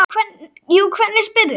Jú, hvernig spyrðu.